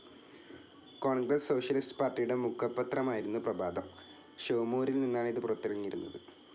Congress socialist പാർട്ടിയുടെ മുഖപത്രമായിരുന്നു പ്രഭാതം. ഷോമൂരിൽ നിന്നാണ് ഇത് പുറത്തിറങ്ങിയിരുന്നത്.